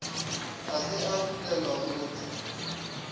ga se a bulelwa bohle